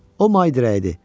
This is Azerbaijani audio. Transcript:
O may dirəyidir.